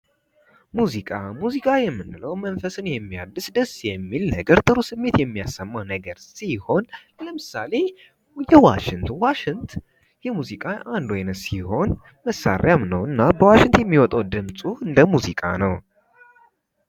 ሙዚቃ ሙዚቃ የምንለው መንፈስን የሚያድስ ደስ የሚል ነገር ጥሩ ስሜት የሚያሰማ ነገር ሲሆን ለምሳሌ ዋሽንት ዋሽንት የሙዚቃ አንዱ ዓይነት ሲሆን መሣሪያም ነውና በዋሽንት የሚወጣው ድምጹ ለሙዚቃ ነው ::